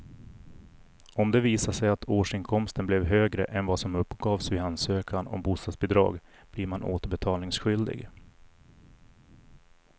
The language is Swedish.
Om det visar sig att årsinkomsten blev högre än vad som uppgavs vid ansökan om bostadsbidrag blir man återbetalningsskyldig.